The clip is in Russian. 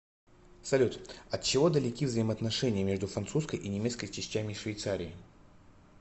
салют от чего далеки взаимоотношения между французской и немецкой частями швейцарии